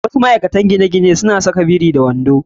Wasu ma'aikatan gine-ginen suna saka kaya biri da wando.